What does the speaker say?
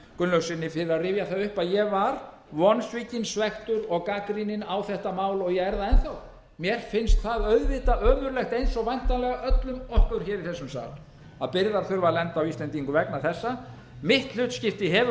gunnlaugssyni fyrir að rifja það upp að ég var vonsvikinn svekktur og gagnrýninn á þetta mál og ég er það enn þá mér finnst það auðvitað ömurlegt eins og væntanlega öllum okkur hér í þessum sal að byrðar þurfi að lenda á íslendingum vegna þessa mitt hlutskipti hefur